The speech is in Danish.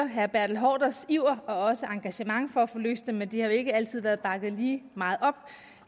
herre bertel haarders iver og engagement for at få løst dem men det har jo ikke altid været bakket lige meget op